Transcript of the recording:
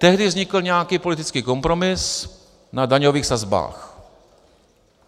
Tehdy vznikl nějaký politický kompromis na daňových sazbách.